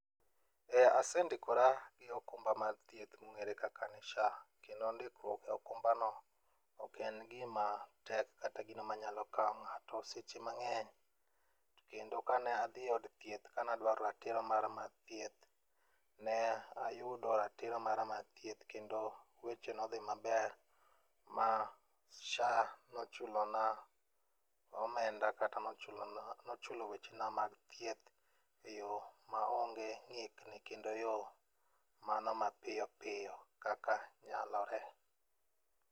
Eh asendikora gi okumba mar thieth mong'ere kaka ni SHA kendo ndikruok e okumbano ok en gimatek kata gino manyalo kawo ng'ato seche mang'eny. To kendo ka ne adhi e od thieth kanadwaro ratiro mara mar thieth, ne ayudo ratiro mara mar thieth kendo weche nodhi maber ma SHA nochulona omenda kata nochulo wechena mag thieth eyo maonge ng'ikni kendo yo mano mapiyopiyo kaka nyalore.